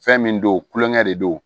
Fɛn min don tulonkɛ de don